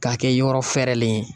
K'a kɛ yɔrɔ fɛrɛlen ye